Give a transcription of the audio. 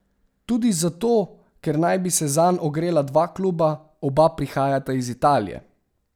Tudi zato, ker naj bi se zanj ogrela dva kluba, oba prihajata iz Italije.